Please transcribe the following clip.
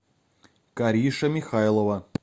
кариша михайлова